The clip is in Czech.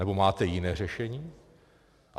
Nebo máte jiné řešení?